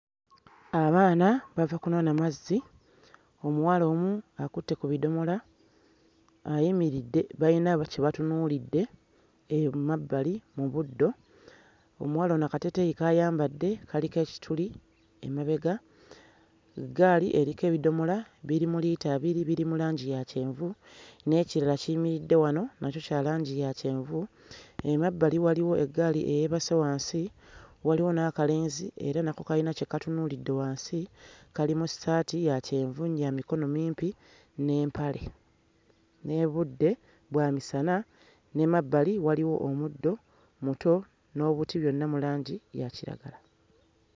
Abaana bava kunona mazzi omuwala omu akutte ku bidomola ayimiridde bayina ba kye batunuulidde ee mmabbali mu buddo omuwala ono akateeteeyi k'ayambadde kaliko ekituli emabega eggaali eriko ebidomola biri mu liita abiri biri mu langi ya kyenvu n'ekirala kiyimiridde wano nakyo kya langi ya kyenvu emabbali waliwo eggaali eyeebase wansi waliwo n'akalenzi era nako kayina kye katunuulidde wansi kali mu ssaati ya kyenvu ya mikono mimpi n'empale n'ebudde bwa misana n'emabbali waliwo omuddo muto n'obuti byonna mu langi ya kiragala.